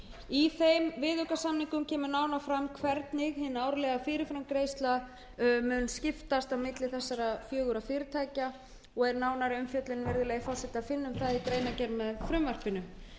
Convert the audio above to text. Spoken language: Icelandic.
í þeim viðaukasamningum kemur nánar fram hvernig hin árlega fyrirframgreiðsla mun skiptast á milli þessara fjögurra fyrirtækja og er nánari umfjöllun um það virðulegi forseti að finna í greinargerð með frumvarpinu